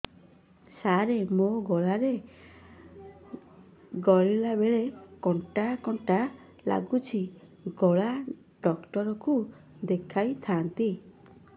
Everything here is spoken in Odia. ସାର ମୋ ଗଳା ରେ ଗିଳିଲା ବେଲେ କଣ୍ଟା କଣ୍ଟା ଲାଗୁଛି ଗଳା ଡକ୍ଟର କୁ ଦେଖାଇ ଥାନ୍ତି